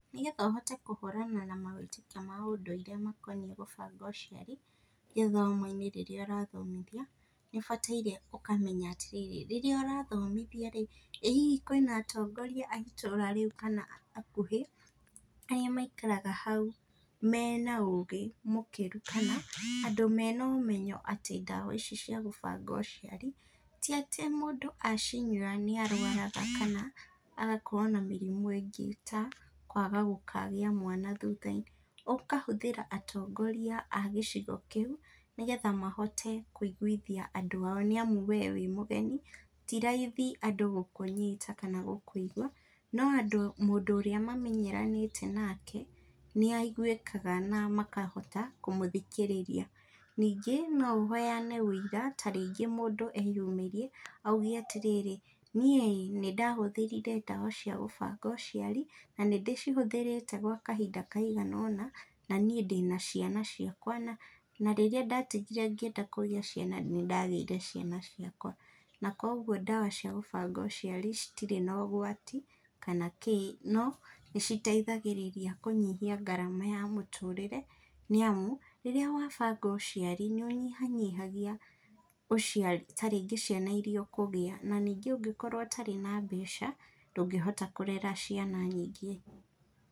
Nĩgetha ũhote kũhũrana na mawĩtĩkio ma ũndũire makoniĩ gũbanga ũciari gĩthomo-inĩ rĩrĩa ũrathomithia, nĩũbataire ũkamenya atĩrĩrĩ, rĩrĩa ũrathomithia-rĩ , ĩ hihi kwĩna atongoria a itũra rĩu kana hakuhĩ, arĩa maikaraga hau mena ũgĩ mũkĩru kana andũ mena ũmenyo atĩ ndawa ici cia gũbanga ũciari? Ti atĩ mũndũ acinyua nĩarwaraga kana agakorwo na mĩrimũ ĩngĩ ta, kwaga gũkagĩa mwana thutha-inĩ. Ũkahũthĩra atongoria a gĩcigo kĩu, nĩgetha mahote kũiguithia andũ ao nĩamu wee wĩ mũgeni, ti raithi andũ gũkũnyita kana gũkũigwa, no andũ mũndũ ũrĩa mamenyeranĩte nake nĩaigwĩkaga na makahota kũmũthikĩrĩria. Ningĩ no ũheane wĩira ta rĩngĩ mũndũ eyumĩrie, auge atĩrĩrĩ, niĩ-ĩ nĩndahũthĩrire ndawa cia gũbanga ũciari, na nĩndĩcihũthĩrĩte gwa kahinda kainga ũna, na niĩ ndĩna ciana ciakwa, na rĩrĩa ndatigire ngĩenda kũgĩa ciana, nĩndagĩire ciana ciakwa, na kuoguo ndawa cia gũbanga ũciari citirĩ na ũgwati kana kĩĩ, no nĩciteithagĩrĩria kũnyihia ngarama ya mũtũrĩre nĩamu rĩrĩa wabanga ũciari nĩũnyihanyihagia ũciari ta rĩngĩ ciana iria ũkũgĩa. Na ningĩ ũngĩkorwo ũtarĩ na mbeca, ndũngĩhota kũrera ciana nyingĩ.